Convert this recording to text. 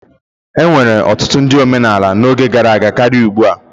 Enwere ọtụtụ ndị omenala n'oge gara aga karịa ugbu a.